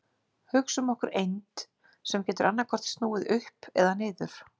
Hugsum okkur eind sem getur annaðhvort snúið upp eða niður.